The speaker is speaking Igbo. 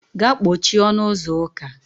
Gaa kpochie ọnụ ụzọ ụka.